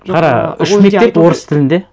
қара үш мектеп орыс тілінде